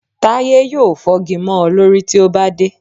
Táyé yóò fọ́gi mọ́ ọ lórí tí o bá dé